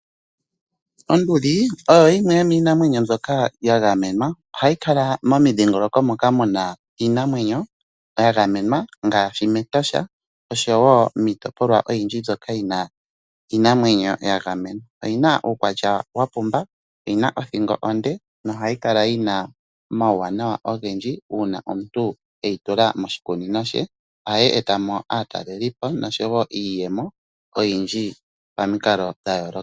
Onduli oyo yimwe yomiinamwenyo mbyoka ya gamenwa, ohayi kala momidhigoloko mpoka muna iinamwenyo yagamenwa, ngashi mEtosha oshowo miitopolwa oyindji mbyoka yina iinamwenyo yagamenwa, oyina uukwatya wapumba, oyina othingo onde, nohayikala yina omawuwanawa ogendji uuna omuntu eyi tula moshikunino she, ohayi etamo aatalelipo noshowo iiyemo oyindji pamikalo dha yoloka.